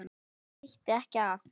Það veitti ekki af.